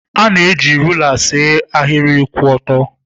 Ị na-eji rula see ahịrị kwụ ọtọ.